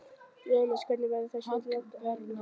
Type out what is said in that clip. Jóhannes: Hvernig verður þessari leit háttað þá?